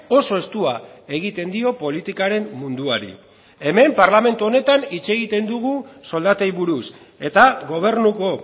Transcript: oso estua egiten dio politikaren munduari hemen parlamentu honetan hitz egiten dugu soldatei buruz eta gobernuko